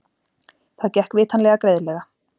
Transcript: Það gekk vitanlega greiðlega.